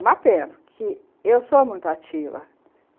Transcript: Uma pena, porque eu sou muito ativa.